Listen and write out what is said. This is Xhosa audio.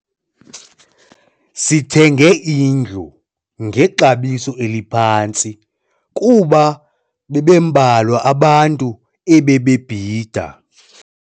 Sithenge indlu ngexabiso eliphantsi kuba bebembalwa abantu ebebebhida.